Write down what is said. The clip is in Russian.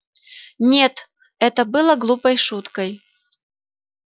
нет это не было глупой шуткой